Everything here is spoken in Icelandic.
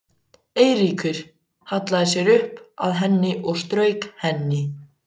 Eiríkur hallaði sér upp að henni og strauk henni.